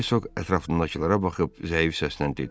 Hersoq ətrafındakılara baxıb zəif səslə dedi: